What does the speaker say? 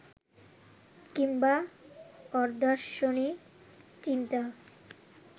কিংবা অদার্শনিক চিন্তা